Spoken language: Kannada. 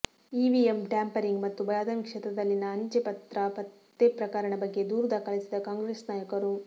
ಇವಿಎಂ ಟ್ಯಾಂಪರಿಂಗ್ ಮತ್ತು ಬದಾಮಿ ಕ್ಷೇತ್ರದಲ್ಲಿನ ಅಂಚೆ ಪತ್ರ ಪತ್ತೆ ಪ್ರಕರಣ ಬಗ್ಗೆ ದೂರು ದಾಖಲಿಸಿದ ಕಾಂಗ್ರೆಸ್ ನಾಯಕರು